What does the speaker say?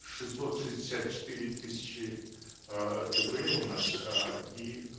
шестьсот шестьдесят четыре тысячи э дпэ у нас э и